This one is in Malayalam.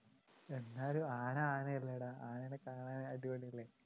എന്നാലും ആന ആനയല്ലേടാ ആനേനെ കാണാൻ അടിപൊളിയല്ലേ